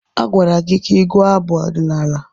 Agwara gị ka ị gụọ abụ ọdịnala!